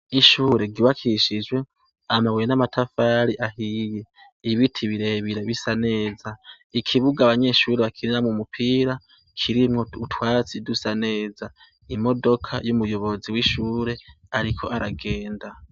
Ishure giwakishijwe amabuye n'amatafari ahiye ibiti birebira bisa neza ikibuga abanyeshuri bakirina mu mupira kirimwo utwatsi dusa neza imodoka y'umuyobozi w'ishure, ariko aragenda.